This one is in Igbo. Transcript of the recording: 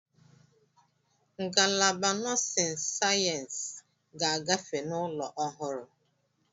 Ngalaba nọọsịn sayensị ga-agafe n'ụlọ ọhụrụ.